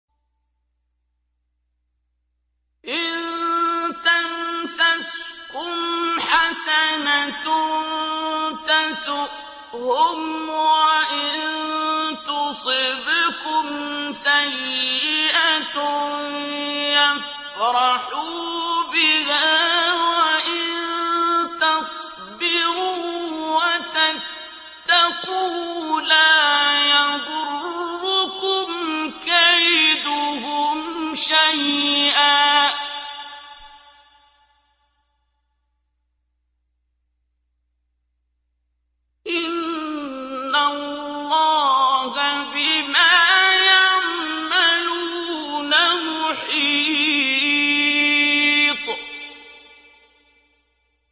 إِن تَمْسَسْكُمْ حَسَنَةٌ تَسُؤْهُمْ وَإِن تُصِبْكُمْ سَيِّئَةٌ يَفْرَحُوا بِهَا ۖ وَإِن تَصْبِرُوا وَتَتَّقُوا لَا يَضُرُّكُمْ كَيْدُهُمْ شَيْئًا ۗ إِنَّ اللَّهَ بِمَا يَعْمَلُونَ مُحِيطٌ